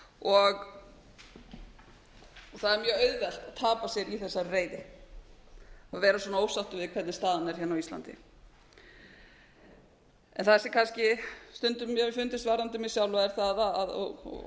og það er mjög auðvelt að tapa sér í þessari reiði að vera svona ósáttur við hvernig staðan er hérna á íslandi það sem mér hefur kannski stundum fundist varðandi mig sjálfa og